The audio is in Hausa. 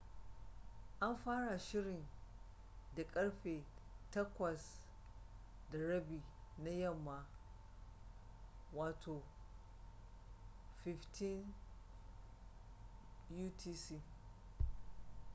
an fara shirin da karfe 8:30 na yamma 15.00 utc